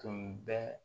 Tun bɛ